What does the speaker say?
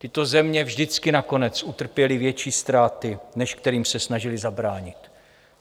Tyto země vždycky nakonec utrpěly větší ztráty, než kterým se snažily zabránit.